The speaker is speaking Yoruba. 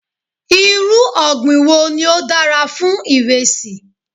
Irú ọ̀gbìn wo ni ó dára fún iresi?